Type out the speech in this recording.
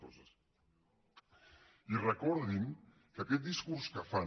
i recordin que aquest discurs que fan